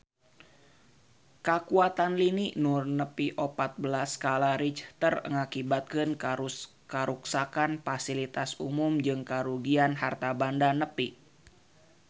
Kakuatan lini nu nepi opat belas skala Richter ngakibatkeun karuksakan pasilitas umum jeung karugian harta banda nepi ka 60 triliun rupiah